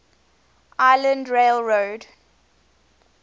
island rail road